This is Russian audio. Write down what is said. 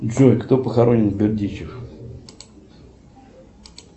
джой кто похоронен в бердищах